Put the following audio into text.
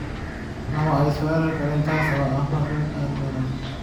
Nama ay soo weerari karin, taas oo ah arrin aad u wanaagsan.